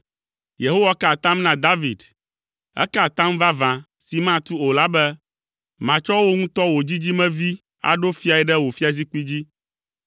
Yehowa ka atam na David; eka atam vavã si matu o la be, “Matsɔ wò ŋutɔ wò dzidzimevi aɖo fiae ɖe wò fiazikpui dzi.